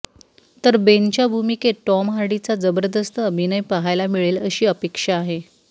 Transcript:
तर बेनच्या भूमिकेत टॉम हार्डीचा जबरदस्त अभिनय पहायला मिळेल अशी अपेक्षा आहे